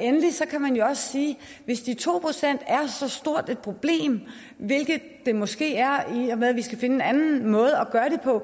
endelig kan man jo også sige at hvis de to procent er så stort et problem hvilket de måske er i og med at vi skal finde en anden måde at gøre det på